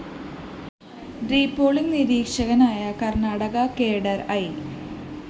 repolling നിരീക്ഷകനായ Karnataka cadre I